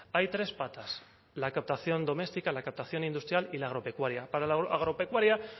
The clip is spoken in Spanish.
hay tres patas la captación doméstica la captación industrial y la agropecuaria para la agropecuaria